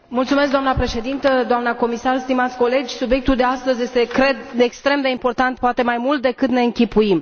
Doamnă Președinte, doamnă comisar, stimați colegi, subiectul de astăzi este, cred, extrem de important, poate mai mult decât de închipuim.